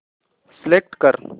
select कर